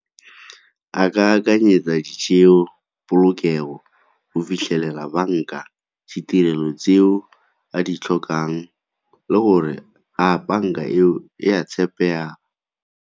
A ka akanyetsa di , polokego go fitlhelela banka, ditirelo tseo a di tlhokang le gore a banka eo e a tshepega?